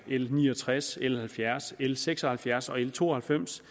l ni og tres l halvfjerds l seks og halvfjerds og l to og halvfems